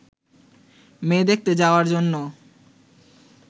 মেয়ে দেখতে যাওয়ার জন্য